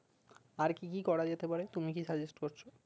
আর কি কি করা যেতে পারে তুমি কি suggest করছো